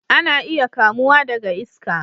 Ana iya kamuwa daga iska